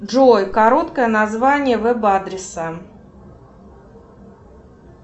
джой короткое название веб адреса